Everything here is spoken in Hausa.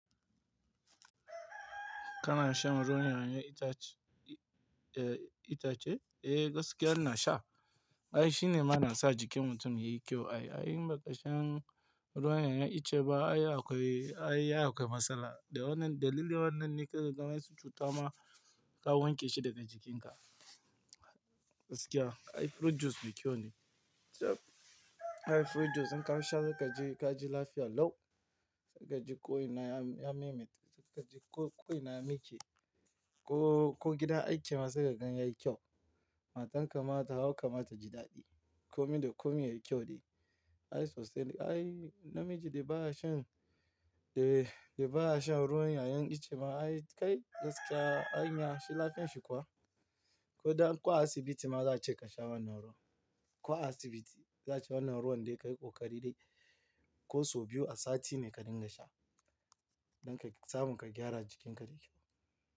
Kana shan ruwan 'ya'yan itace? Eh, gaskiya ina sha. Ai shine ma na sa jikin mutum yayi kyau. Ai in ba ka shan ruwan 'ya'yan itace ba ai akwai, ai ya akwai matsala. Dalili wannan ne ka ga ganyen su cuta ma ka wanke shi daga jikinka. Gaskiya ai fruit juice mai kyau ne. Ai fruit juice in ka sha zaka ji, ka ji lafiya lau. Zaka ji ƙo ina ya memit, zaka ji ƙo ina ya mike. Ko, ko gidan aiki ma sai ka gan yayi kyau. Matan ka ma ta hau, ka ma ta ji daɗi. Komi da komi yayi kyau dai. Ai sosai dai ai namiji da baya shan, eh da baya shan ruwan 'ya'yan itace ma ai kai gaskiya anya shi lafiyan shi kuwa. Ko da an kwa asibiti ma za a ce ka sha wannan ruwan. Kwa asibiti za ce wannan ruwan dai ka yi ƙoƙari dai. Ko so biyu a sati ne ka dinga sha. Don ka samun ka gyara jikin ka da kyau.